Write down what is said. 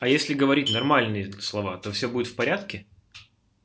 а если говорить нормальные слова то все будет в порядке